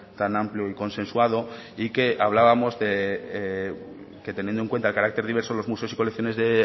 tan amplio y consensuado y que hablábamos que teniendo en cuenta el carácter diverso de los museos y colecciones de